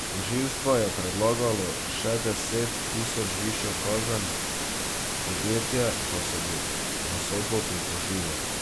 Tožilstvo je predlagalo še deset tisoč višjo kazen, podjetje pa se bo na sodbo pritožilo.